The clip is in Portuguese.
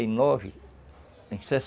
e em